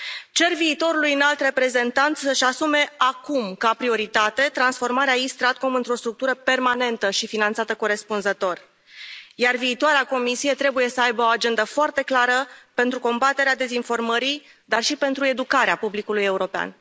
Cer viitorului Înalt Reprezentant să și asume acum, ca prioritate, transformarea East StratCom într o structură permanentă și finanțată corespunzător, iar viitoarea Comisie trebuie să aibă o agendă foarte clară pentru combaterea dezinformării, dar și pentru educarea publicului european.